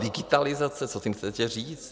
Digitalizace, co tím chcete říct?